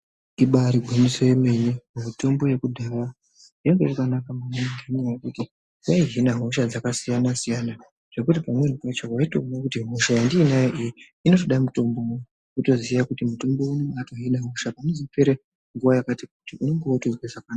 Ibari gwinyiso yemene mitombo yekudhara yanga yakanaka maningi nenyaya yekuti yaihina hosha dzaksiyana siyana zvekuti pamweni pacho waitowona kuti hosha yandinayo iyi inoda mutombo uyu wotoushandisa panozopera nguva yakati kuti unenge wakutonzwa zvakanaka.